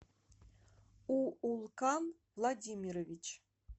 уулкан владимирович